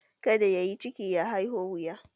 Kadda ya yi ciki, ya haiho wuya.